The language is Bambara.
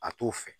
A t'o fɛ